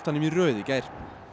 í röð í gær